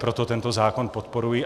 Proto tento zákon podporuji.